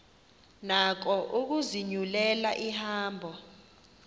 nako ukuzinyulela ihambo